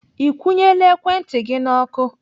Ị kwụnyela ekwentị gị. N'ọkụ?